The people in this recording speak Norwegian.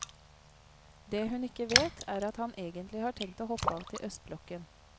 Det hun ikke vet, er at han egentlig har tenkt å hoppe av til østblokken.